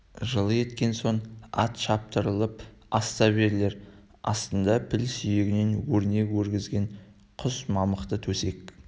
жылы еткен соң ат шаптырылып ас та берілер астында піл сүйегінен өрнек өргізген құс мамықты төсек